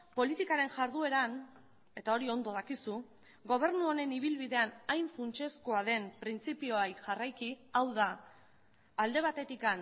politikaren jardueran eta hori ondo dakizu gobernu honen ibilbidean hain funtsezkoa den printzipioei jarraiki hau da alde batetik